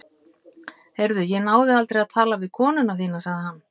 Heyrðu, ég náði aldrei að tala við konuna þína- sagði hann.